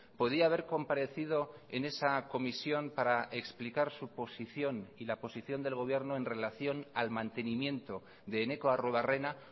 podía haber comparecido en esa comisión para explicar su posición y la posición del gobierno en relación al mantenimiento de eneko arruebarrena